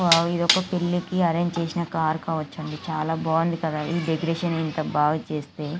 ఒక పిల్లకి ఆరెంజ్ చేసిన కారు కావచ్చు అండి. చాలా బాగుంది డెకొరేషన్ ఇంత బాగా చేస్తే--